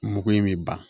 Mugu in bɛ ban